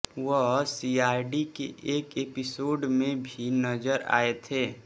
वह सीआईडी के एक एपिसोड में भी नजर आए थे